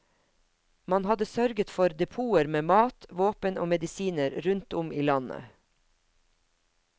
Man hadde sørget for depoter med mat, våpen og medisiner rundt om i landet.